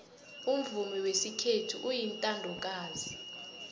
umvumo wesikhethu uyintandokazi